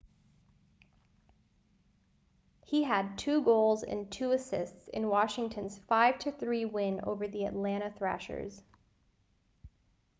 he had 2 goals and 2 assists in washington's 5-3 win over the atlanta thrashers